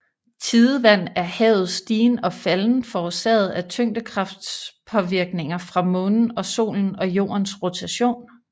Tidevand er havets stigen og falden forårsaget af tyngekraftspåvirkninger fra Månen og Solen og Jordens rotation